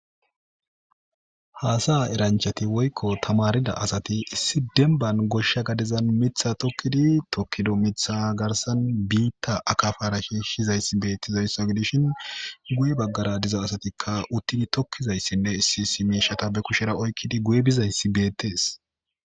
Hassa'a eranichati woyiko tamaridda assati issi demibani gosha gadezani mitha tokidi tokido mitha garisani bitta akabara shishizayisa betizayisa gidishini guye baggara dizayisati utidi mitha tokizayinne issi issi mishata oyikidi guye bizayisi betesi